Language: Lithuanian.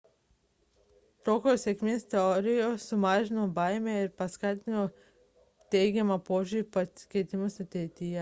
tokios sėkmės istorijos sumažino pokyčių baimę ir paskatino teigiamą požiūrį į pasikeitimus ateityje